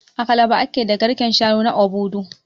A Calabar ake da garken shanu na Obudu